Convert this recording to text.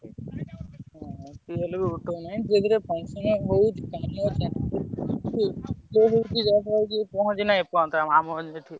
tubewell ରୁ ଉଠଉନି ଧୀରେଧୀରେ function ହଉଛି